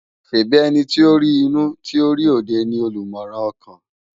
ṣèbi èniti ó ri inú ti ó ri ódé nikán ni ólúmòrán òkán?